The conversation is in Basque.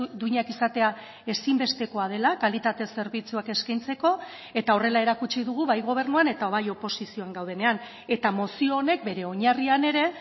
duinak izatea ezinbestekoa dela kalitate zerbitzuak eskaintzeko eta horrela erakutsi dugu bai gobernuan eta bai oposizioan gaudenean eta mozio honek bere oinarrian ere